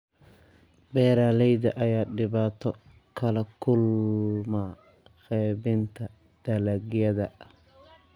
Beeraleyda ayaa dhibaato kala kulma qeybinta dalagyada.